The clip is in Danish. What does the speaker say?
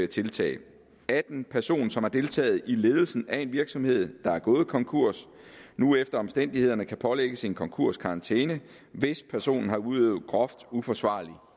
tiltag at en person som har deltaget i ledelsen af en virksomhed der er gået konkurs nu efter omstændighederne kan pålægges en konkurskarantæne hvis personen har udøvet groft uforsvarlig